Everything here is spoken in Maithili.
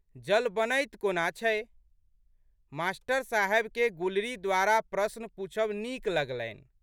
जल बनैत कोना छै? मास्टर साहेबकेँ गुलरी द्वारा प्रश्न पूछब नीक लगलनि।